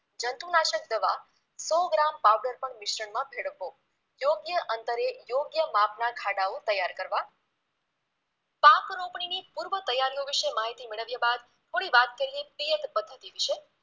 જંતુનાશક દવા સો ગ્રામ powder પણ મિશ્રણમાં ભેળવવો યોગ્ય અંતરે યોગ્ય માપના ખાડાઓ તૈયાર કરવા પાકરોપણીની પૂર્વતૈયારીઓ વિશે માહિતી મેળવ્યા બાદ થોડી વાત કરીએ પિયત પદ્ધતિ વિશે